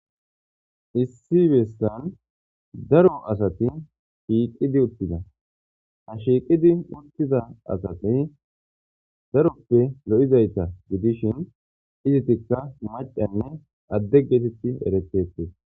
issi beesan daro asati shiiqidi uttida ha shiiqidi uttiza asati daroppe lo7izayta gidishin izitikka macanne adde geetetti eretete